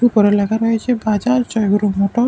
উপরে লেখা রয়েছে বাজাজ জয়গুরু মোটরস ।